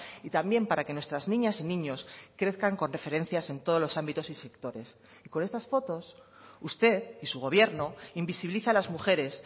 y también para que nuestras niñas y niños crezcan con referencias en todos los ámbitos y sectores con estas fotos usted y su gobierno invisibiliza las mujeres